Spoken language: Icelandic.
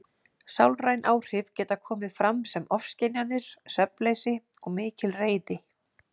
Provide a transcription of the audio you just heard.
Sálræn áhrif geta komið fram sem ofskynjanir, svefnleysi og mikil reiði.